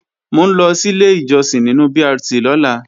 Mò ń lọ sílé ìjọsìn nínu BRT lọ́la